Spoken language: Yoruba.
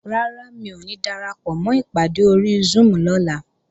Rárá, mi ò ní darapọ̀mọ́ ìpàdé ori Zoom lọ́la